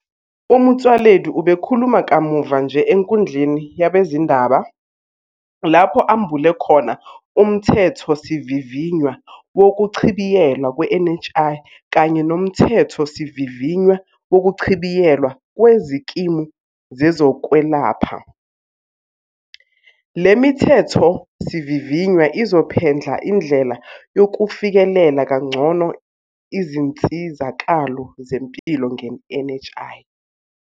UMotsoaledi ubekhuluma kamuva nje enkundleni yabezindaba lapho ambule khona uMthethosivivinywa wokuchibiyelwa kwe-NHI kanye noMthethosivivinywa Wokuchibiyelwa Kwezikimu Zezokwelapha. Le mithethosivivinywa izophendla indlela yokufikelela kangcono izinsizakalo zempilo nge-NHI.